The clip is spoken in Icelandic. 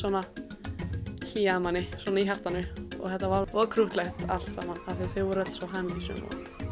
hlýjaði manni svona í hjartanu og þetta var voða krúttlegt allt saman af því þau voru öll svo hamingjusöm